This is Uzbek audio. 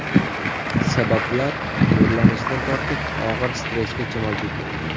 Sabablar nurlanishdan tortib, og‘ir stressgacha mavjud.